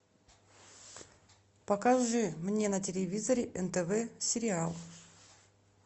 покажи мне на телевизоре нтв сериал